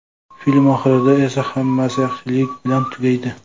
Film oxirida esa hammasi yaxshilik bilan tugaydi.